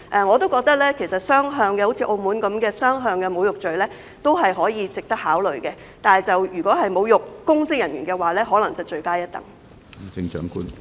我也認為其實可以"雙向"的，像澳門般推行"雙向"的侮辱罪，這做法也值得考慮；但如果是侮辱公職人員，便可能罪加一等。